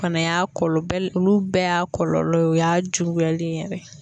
Fana y'a kɔlɔlɔ bɛ olu bɛɛ y'a kɔlɔlɔ ye, o y'a juguyalen ye yɛrɛ.